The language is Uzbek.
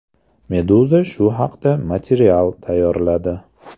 Meduza shu haqda material tayyorladi .